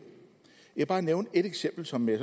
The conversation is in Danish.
jeg vil bare nævne et eksempel som jeg